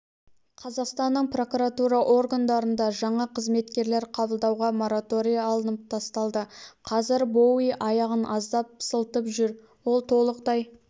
қазақстанның прокуратура органдарында жаңа қызметкерлер қабылдауға мораторий алынып тасталды қазір боуи аяғын аздап сылтып жүр олтолықтай